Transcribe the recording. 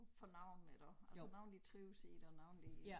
For nogen iggå altså nogen de trives i det og nogen de